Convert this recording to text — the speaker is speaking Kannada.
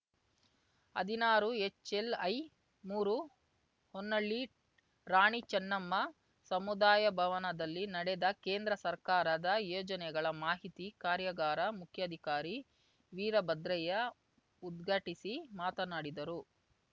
ಹದಿನಾರುಎಚ್‌ಎಲ್‌ಐಮೂರು ಹೊನ್ನಾಳಿ ರಾಣಿ ಚೆನ್ನಮ್ಮ ಸಮುದಾಯಭವನದಲ್ಲಿ ನಡೆದ ಕೇಂದ್ರ ಸರ್ಕಾರದ ಯೋಜನೆಗಳ ಮಾಹಿತಿ ಕಾರ್ಯಾಗಾರ ಮುಖ್ಯಾಧಿಕಾರಿ ವೀರಭದ್ರಯ್ಯ ಉದ್ಘಾಟಿಸಿ ಮಾತನಾಡಿದರು